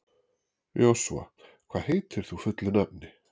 Joshua, hvað heitir þú fullu nafni?